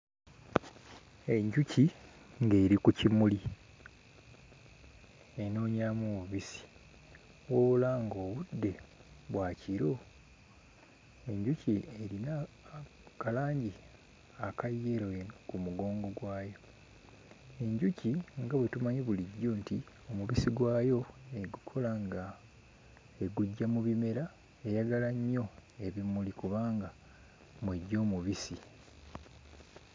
Enjuki ng'eri ku kimuli enoonyamu mubisi, wabula ng'obudde bwa kiro. Enjuki erimu ka langi aka yellow eno ku mugongo gwayo. Enjuki nga bwe tumanyi bulijjo nti omubisi gwayo egukola nga eguggya mu bimera, eyagala nnyo ebimuli kubanga mw'eggya omubisi.